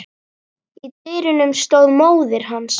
Í dyrunum stóð móðir hans.